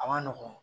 A ma nɔgɔn